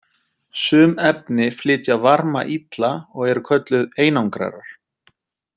Sum efni flytja varma illa og eru kölluð einangrarar.